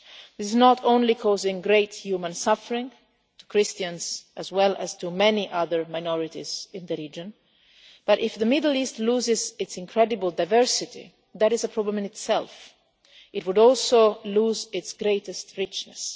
This is not only causing great human suffering to Christians as well as to many other minorities in the region but, if the Middle East loses its incredible diversity that is a problem in itself it would also lose its greatest richness.